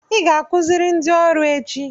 Ị ga-akụziri ndị ọrụ echi.